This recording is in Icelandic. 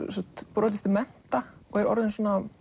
brotist til mennta og er orðin